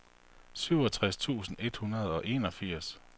syvogtres tusind et hundrede og enogfirs